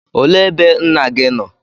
Olee ebe nna gị nọ?